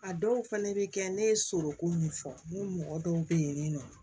A dɔw fɛnɛ bɛ kɛ ne ye soko min fɔ ne mɔgɔ dɔw bɛ yen nɔ